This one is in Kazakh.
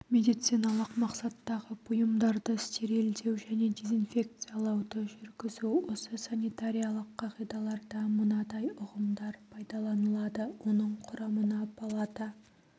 медициналық мақсаттағы бұйымдарды стерилдеу және дезинфекциялауды жүргізу осы санитариялық қағидаларда мынадай ұғымдар пайдаланылады оның құрамына палата